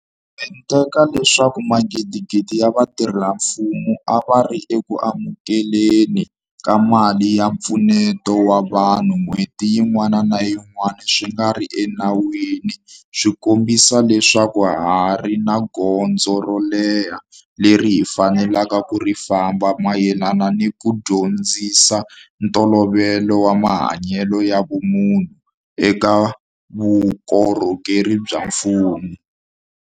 Mente ka leswaku magidigidi ya vatirhela mfumo a va ri eku amukele ni ka mali ya mpfuneto wa vanhu n'hweti yin'wana ni yin'wana swi nga ri enawini swi kombisa leswaku ha ha ri ni gondzo ro leha leri hi faneleke ku ri famba mayelana ni ku dyondzisa ntolovelo wa mahanyelo ya vumunhu eka vukorhokeri bya mfumo.